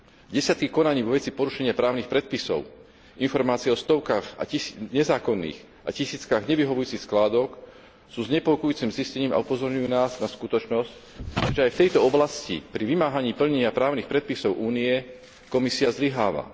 Desiatky konaní vo veci porušenia právnych predpisov, informácie o stovkách nezákonných a tisíckach nevyhovujúcich skládok sú znepokojujúcim zistením a upozorňujú nás na skutočnosť, že aj v tejto oblasti pri vymáhaní plnenia právnych predpisov Únie Komisia zlyháva.